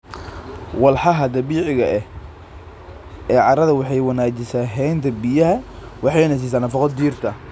Walxaha dabiiciga ah ee carrada waxay wanaajisaa haynta biyaha waxayna siisaa nafaqo dhirta.